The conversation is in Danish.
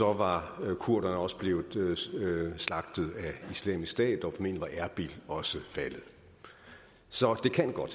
var kurderne også blevet slagtet af islamisk stat og var erbil også faldet så det kan godt